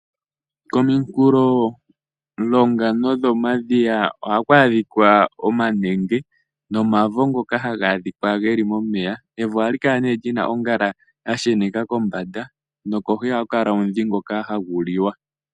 Kominkulo longa nodho madhiya, ohaku adhika omanenge, nomavo ngoka haga adhika geli momeya. Evo ohali kala lina ongala ya sheneka kombanda, nokohi ohaku kala omudhi ngoka hagu liwa.